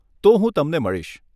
તો હું તમને મળીશ.